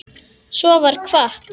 Svo var kvatt.